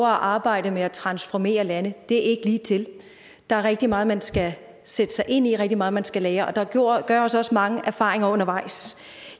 arbejde med at transformere lande det er ikke ligetil der er rigtig meget man skal sætte sig ind i og rigtig meget man skal lære og der gøres også mange erfaringer undervejs